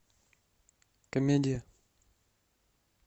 комедия